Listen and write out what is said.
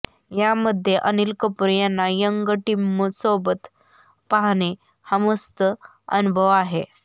यामध्ये अनिल कपूर यांना यंग टिमसोबत पाहणे हा मस्त अनुभव आहे